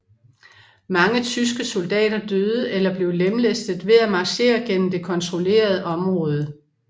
Mange tyske soldater døde eller blev lemlæstet ved at marchere gennem det kontrollerede område